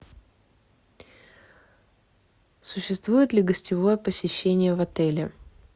существует ли гостевое посещение в отеле